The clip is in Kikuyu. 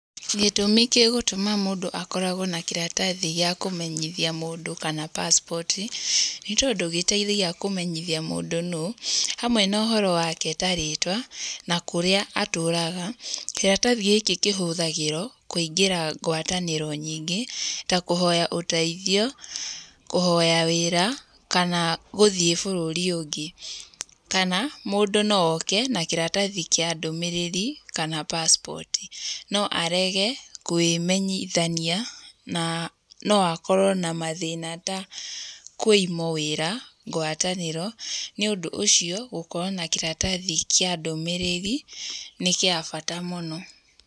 Gĩtũmi gĩgũtũma mũndũ akoragwo na kĩratathi gĩa kũmenyithia mũndũ kana passport nĩ tondũ gĩteithagia kũmenyithia mũndũ nũũ, hanwe na ũhoro wake ta rĩtwa na kũrĩa atũraga. Kĩratathi gĩkĩ kĩhũthagĩrwo kũingĩra ngwatanĩro nyingĩ ta kũhoya ũteithio, kũhoya wĩra kana gũthiĩ bũrũri ũngĩ. Kana mũndũ no oke na kĩratathi kĩa ndũmĩrĩri kana passport. No arege kwĩmenyithania kana na no akorwo na mathĩna ta kũimwo wĩra, ngwatanĩro, nĩ ũndũ ũcio gũkorwo na kĩratathi kĩa ndũmĩrĩri nĩ gĩa bata mũno.